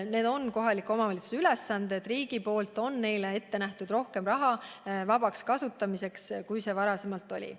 Need on kohaliku omavalitsuse ülesanded ning riik on nende jaoks ette näinud vabaks kasutamiseks rohkem raha, kui seda varem on olnud.